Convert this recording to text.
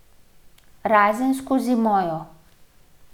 Razen skozi mojo.